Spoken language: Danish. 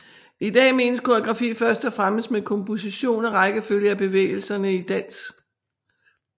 I dag menes koreografi først og fremmest med komposition og rækkefølge af bevægelserne i dans